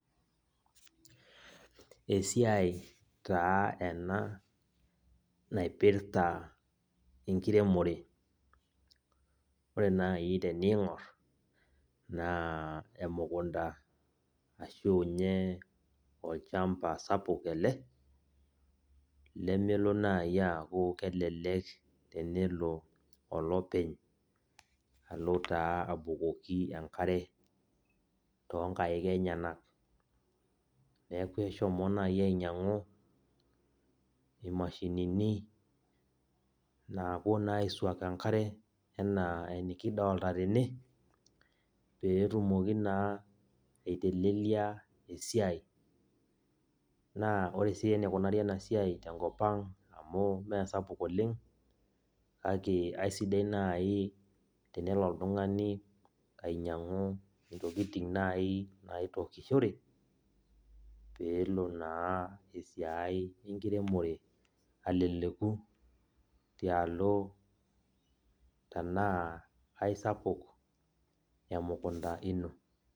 Esiai taa ena, naipirta enkiremore. Ore nai teniing'or, naa emukunda ashu nye olchamba sapuk ele, lemelo nai aku elelek enelo olopeny alo taa abukoki enkare, tonkaik enyanak. Neeku eshomo nai ainyang'u imashinini napuo naa aisuak enkare, enaa enikidolta tene, petumoki naa aitelelia esiai. Naa ore si enikunari enasiai tenkop ang amu mesapuk oleng, ake aisidai nai tenelo oltung'ani ainyang'u intokiting nai naitokishore, peelo naa esiai enkiremore aleleku tialo enaa aisapuk emukunda ino.